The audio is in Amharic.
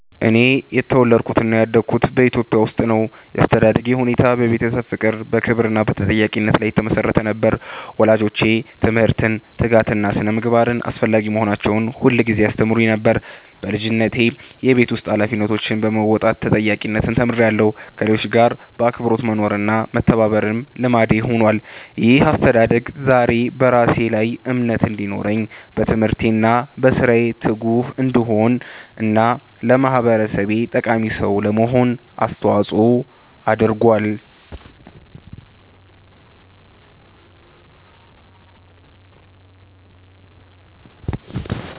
እኔ የተወለድኩትና ያደግኩት በኢትዮጵያ ውስጥ ነው። ያስተዳደግ ሁኔታዬ በቤተሰብ ፍቅር፣ በክብር እና በተጠያቂነት ላይ የተመሰረተ ነበር። ወላጆቼ ትምህርትን፣ ትጋትን እና ስነ-ምግባርን አስፈላጊ መሆናቸውን ሁልጊዜ ያስተምሩኝ ነበር። በልጅነቴ የቤት ውስጥ ኃላፊነቶችን በመወጣት ተጠያቂነትን ተምሬያለሁ፣ ከሌሎች ጋር በአክብሮት መኖርና መተባበርም ልምዴ ሆኗል። ይህ አስተዳደግ ዛሬ በራሴ ላይ እምነት እንዲኖረኝ፣ በትምህርቴ እና በሥራዬ ትጉ እንድሆን እና ለማህበረሰቤ ጠቃሚ ሰው ለመሆን አስተዋጽኦ አድርጓል።